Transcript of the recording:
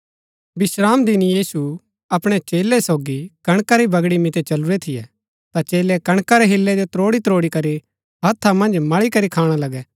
विश्रामदिन यीशु अपणै चेलै सोगी कणका री बगड़ी मितै चलुरै थियै ता चेलै कणका रै हिल्लै जो त्रोड़ी त्रोड़ी करी हथा मन्ज मळी करी खाणा लगै